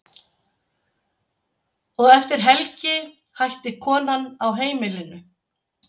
Og eftir helgi hætti konan á heimilinu.